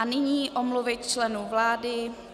A nyní omluvy členů vlády.